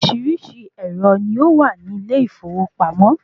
Oríṣiríṣi ẹ̀rọ ni ó wà ní ilé ìfowópamọ́